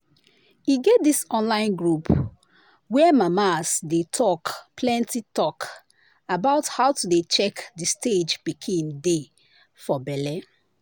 e get this online group where mama's dey talk plenty talk about how to dey check the stage pikin dey for belle.